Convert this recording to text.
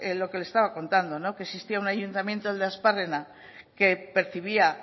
lo que le estaba contando que existía un ayuntamiento el de aspárrena que percibía